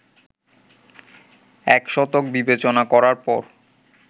এক শতক বিবেচনা করার পর